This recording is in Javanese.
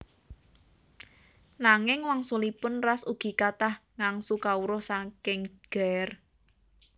Nanging wangsulipun Ras ugi kathah ngangsu kawruh saking Ger